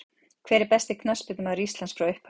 Hver besti knattspyrnumaður Íslands frá upphafi?